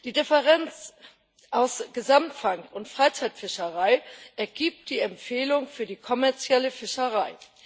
Die Differenz aus Gesamtfang und Freizeitfischerei ergibt die Empfehlung für die kommerzielle Fischerei.